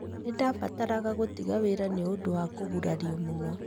"Nĩ ndabataraga gũtiga wĩra nĩ ũndũ wa kũgũrario mũno.